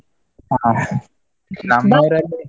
ಹಾ.